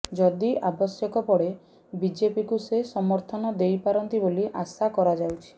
ଯଦି ଆବଶ୍ୟକ ପଡେ ବିଜେପିକୁ ସେ ସମର୍ଥନ ଦେଇପାରନ୍ତି ବୋଲି ଆଶା କରାଯାଉଛି